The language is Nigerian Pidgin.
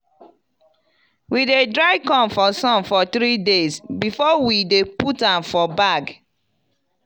we dey dry corn for sun for three days before we dey put am for bag.